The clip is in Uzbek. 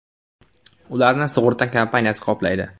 Ularni sug‘urta kompaniyasi qoplaydi.